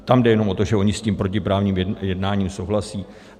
Tam jde jenom o to, že oni s tím protiprávním jednáním souhlasí.